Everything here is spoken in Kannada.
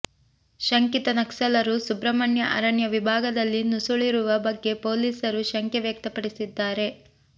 ಶಂಕಿತ ನಕ್ಸಲರು ಸುಬ್ರಹ್ಮಣ್ಯ ಅರಣ್ಯ ಭಾಗದಲ್ಲಿ ನುಸುಳಿರುವ ಬಗ್ಗೆ ಪೊಲೀಸರು ಶಂಕೆ ವ್ಯಕ್ತಪಡಿಸಿದ್ದಾರೆ